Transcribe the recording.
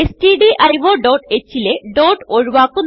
stdioഹ് ലെ ഡോട്ട് ഒഴുവാക്കുന്നു